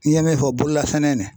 N'i ye min fɔ bololasɛnɛ nin